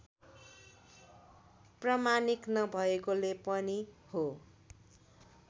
प्रामाणिक नभएकोले पनि हो